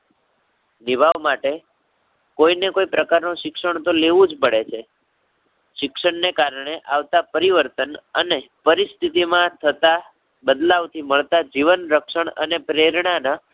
નિર્વાહ માટે કોઈ ને કોઈ પ્રકારનું શિક્ષણ તો લેવું જ પડે છે. શિક્ષણને કારણે આવતા પરીવર્તન અને પરિસ્થિતી માં થતાં બદલાવ થી મળતા જીવન રક્ષણ અને પ્રેરણાના